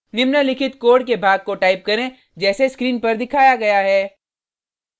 निम्नलिखित कोड के भाग को टाइप करें जैसे स्क्रीन पर दिखाया गया है